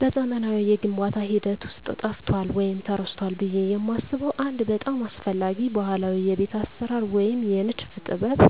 በዘመናዊው የግንባታ ሂደት ውስጥ ጠፍቷል ወይም ተረስቷል ብዬ የማስበው አንድ በጣም አስፈላጊ ባህላዊ የቤት አሰራር ወይም የንድፍ ጥበብ